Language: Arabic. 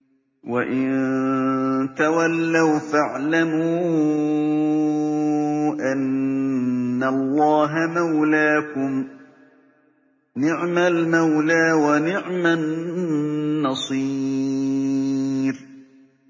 وَإِن تَوَلَّوْا فَاعْلَمُوا أَنَّ اللَّهَ مَوْلَاكُمْ ۚ نِعْمَ الْمَوْلَىٰ وَنِعْمَ النَّصِيرُ